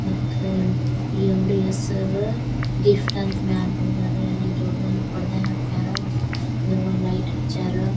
ಮತ್ತ ಈ ಅಂಗಡಿಯ ಹೆಸರ ಗಿಫ್ಟ್ ಅಂತ ಮೇಲೆ ಬರ್ದರ ಅಲ್ಲಿ ದೊಡ್ಡ ದೊಡ್ಡ ಪರದೆ ಹಾಕಾರೆ ಮತ್ತೆ ಲೈಟ್ ಹಚ್ಚಾರ.